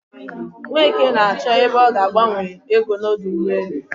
Nweke na-achọ ebe ọ ga agbanwe ego n'ọdọ ụgbọelu.